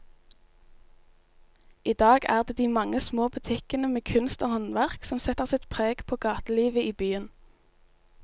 I dag er det de mange små butikkene med kunst og håndverk som setter sitt preg på gatelivet i byen.